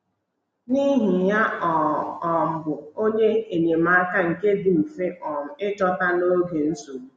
N’ihi ya, ọ um bụ “onye enyemaka nke dị mfe um ịchọta n’oge nsogbu.